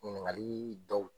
Ɲininkali yi dɔw